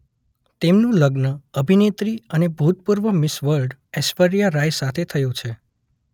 તેમનુ લગ્ન અભિનેત્રી અને ભૂતપૂર્વ મિસ વર્લ્ડ ઐશ્વર્યા રાય સાથે થયુ છે.